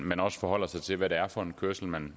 man også forholder sig til hvad det er for en kørsel man